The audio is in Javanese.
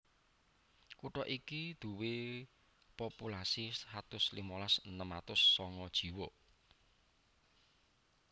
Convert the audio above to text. Kutha iki duwé populasi satus limolas enem atus songo jiwa